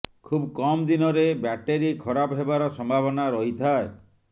ଖୁବ୍ କମ୍ ଦିନରେ ବ୍ୟାଟେରୀ ଖରାପ ହେବାର ସମ୍ଭାବନା ରହିଥାଏ